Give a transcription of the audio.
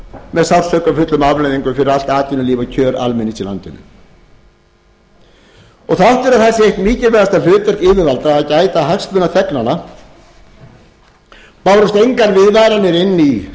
með sársaukafullum afleiðingum fyrir allt atvinnulíf og kjör almennings í landinu þrátt fyrir það er það eitt mikilvægasta hlutverk yfirvalda að gæta hagsmuna þegnanna bárust engar viðvaranir inn í samfélagið frá